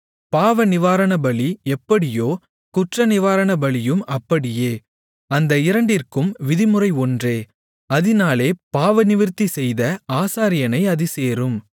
பாவநிவாரணபலி எப்படியோ குற்றநிவாரணபலியும் அப்படியே அந்த இரண்டிற்கும் விதிமுறை ஒன்றே அதினாலே பாவநிவிர்த்தி செய்த ஆசாரியனை அது சேரும்